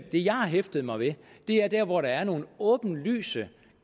det jeg har hæftet mig ved er der hvor der er nogle åbenlyse